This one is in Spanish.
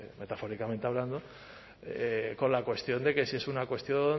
metafóricamente hablando con la cuestión de que si es una cuestión